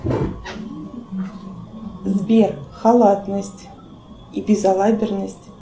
сбер халатность и безолаберность